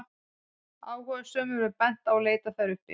áhugasömum er bent á að leita þær uppi